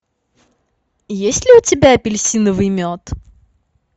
есть ли у тебя апельсиновый мед